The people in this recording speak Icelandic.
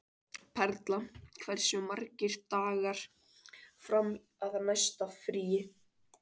Perla, hversu margir dagar fram að næsta fríi?